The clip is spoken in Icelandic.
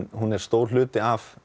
hún er stór hluti af